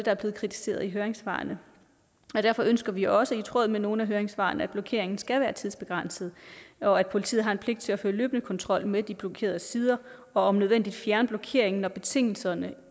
er blevet kritiseret i høringssvarene derfor ønsker vi også i tråd med nogle af høringssvarene at blokeringen skal være tidsbegrænset og at politiet har pligt til at føre løbende kontrol med de blokerede sider og om nødvendigt fjerne blokeringen når betingelserne